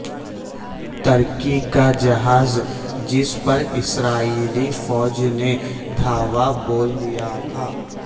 ترکی کا جہاز جس پر اسرائیلی فوج نے دھاوا بول دیا تھا